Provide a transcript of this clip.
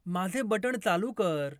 माझे बटण चालू कर